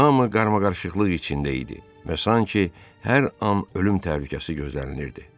Hamı qarmaqarışıqlıq içində idi və sanki hər an ölüm təhlükəsi gözlənilirdi.